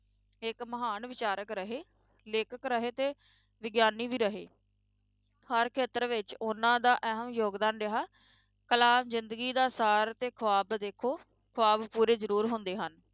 ਇੱਕ ਮਹਾਨ ਵਿਚਾਰਕ ਰਹੇ, ਲੇਖਕ ਰਹੇ ਤੇ ਵਿਗਿਆਨੀ ਵੀ ਰਹੇ ਹਰ ਖੇਤਰ ਵਿੱਚ ਉਹਨਾਂ ਦਾ ਅਹਿਮ ਯੋਗਦਾਨ ਰਿਹਾ, ਕਲਾਮ ਜ਼ਿੰਦਗੀ ਦਾ ਸਾਰ ਤੇ ਖੁਆਬ ਦੇਖੋ, ਖੁਆਬ ਪੂਰੇ ਜ਼ਰੂਰ ਹੁੰਦੇ ਹਨ,